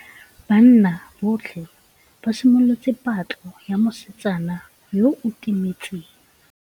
Banna botlhê ba simolotse patlô ya mosetsana yo o timetseng.